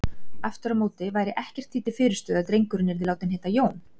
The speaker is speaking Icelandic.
Aftur á móti væri ekkert því til fyrirstöðu að drengurinn yrði látinn heita Jón.